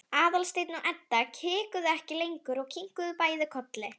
Aðalsteinn og Edda hikuðu ekki lengur og kinkuðu bæði kolli.